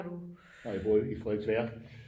Nej jeg bor i Frederiksværk